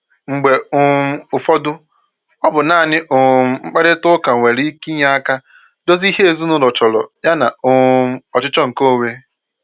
Mgbe um ụfọdụ, ọ bụ naanị um mkparịta ụka nwere ike inye aka dozie ihe ezinụlọ chọrọ yana um ọchịchọ nke onwe